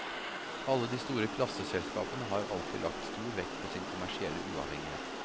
Alle de store klasseselskapene har alltid lagt stor vekt på sin kommersielle uavhengighet.